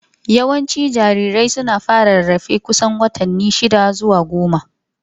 Yawancin jarirai suna fara rarrafe kusan watanni shida zuwa goma.